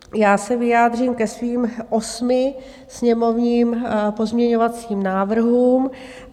Já se vyjádřím ke svým osmi sněmovním pozměňovacím návrhům.